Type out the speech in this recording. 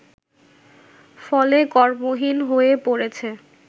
ফলে কর্মহীন হয়ে পড়েছে